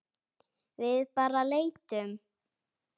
Við bara leitum.